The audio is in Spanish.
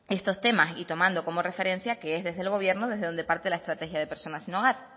estos temas y tomando como referencia que es desde el gobierno desde donde parte la estrategia de personas sin hogar